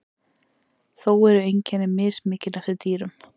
þó eru einkenni mismikil eftir dýrum